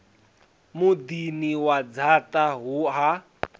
muḓini wa dzaṱa huno ha